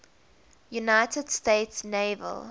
united states naval